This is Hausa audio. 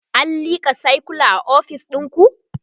an lika sircula a ofis ɗinku?